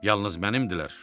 Yalnız mənəmdilər.